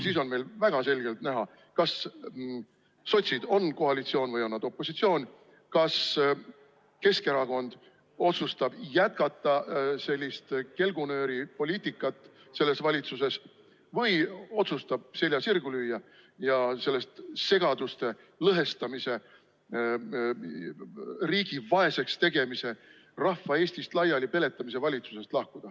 Siis on meil väga selgelt näha, kas sotsid on koalitsioon või on nad opositsioon ning kas Keskerakond otsustab jätkata sellist kelgunööripoliitikat valitsuses või otsustab selja sirgu lüüa ja sellest segaduste lõhestamise, riigi vaeseks tegemise ja rahva Eestist laiali peletamise valitsusest lahkuda.